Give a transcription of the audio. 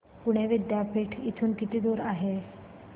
पुणे विद्यापीठ इथून किती दूर आहे